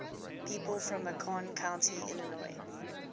people from macon county illinois